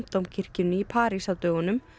Dómkirkjunni í París á dögunum